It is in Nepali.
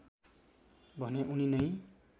भने उनी नै